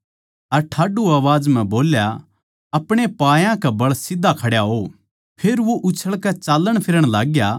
अर ठाड्डू आवाज म्ह बोल्या अपणे पायां कै बळ सीध्धा खड्या हो फेर वो उछळकै चाल्लणफिरण लाग्या